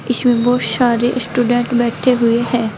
इसमें बहुत शारे शटूडेंट बैठे हुए हैं।